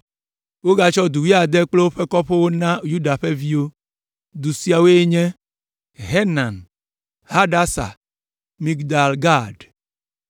Wogatsɔ du wuiade kple woƒe kɔƒewo na Yuda ƒe viwo. Du siawoe nye: Zenan, Hadasa, Migdal Gag,